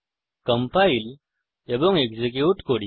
compile এবং execute করি